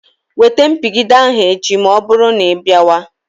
Wete mpigide ahụ echi ma ọbụrụ na ịbịawa.